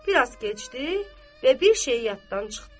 Biraz keçdi və bir şeyi yaddan çıxdı.